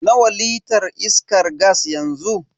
Nawa litar iskan gas yanzu?